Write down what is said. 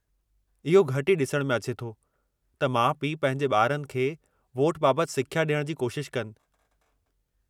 इहो घटि ई ॾिसण में अचे थो त माउ-पिउ पंहिंजे ॿारनि खे वोट बाबतु सिख्या ॾियण जी कोशिश कनि।